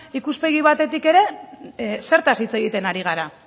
ikuspegi batetik ere zertaz hitz egiten ari gara